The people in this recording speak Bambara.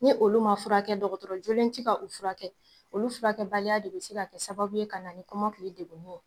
Ni olu ma furakɛ, dɔgɔtɔrɔjlen tɛ ka u furakɛ, olu furakɛ baliya de bɛ se ka kɛ sababu ye ka na ni kɔmakili degunni ye.